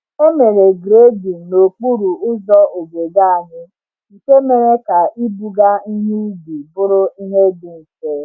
E mere grading n’okporo ụzọ obodo anyị, nke mere ka ibuga ihe ubi bụrụ ihe dị mfe.